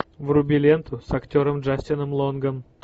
вруби ленту с актером джастином лонгом